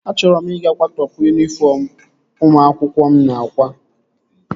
Achọrọ m ị ga-kwatopu yunifọm ụmụ akwụkwọ mụ na-akwa